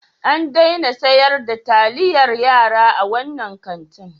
An daina sayar da taliyar yara a wannan kantin.